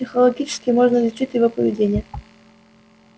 психологически можно изучить его поведение